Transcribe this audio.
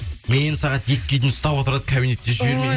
мен сағат екіге дейін ұстап отырады кабинетте жібермей